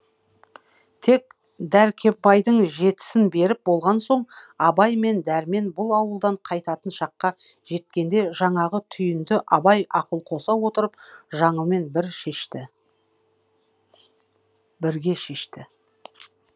тек дәркембайдың жетісін беріп болған соң абай мен дәрмен бұл ауылдан қайтатын шаққа жеткенде жаңағы түйінді абай ақыл қоса отырып жаңылмен бірге шешті